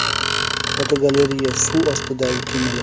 Fotogalereya: Suv ostidagi kemalar.